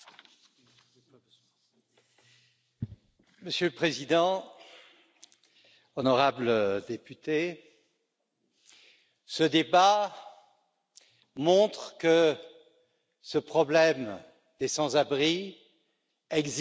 Monsieur le Président, honorables députés, ce débat montre que ce problème des sans abri existe au sud, au nord,